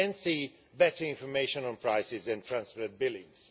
and better information on prices and transferred billings.